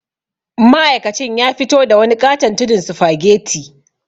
Ma'aikacin ya fito da wani ƙaton tudun sufageti.